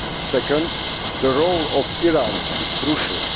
Second, the role of Iran is crucial.